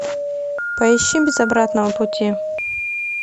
поищи без обратного пути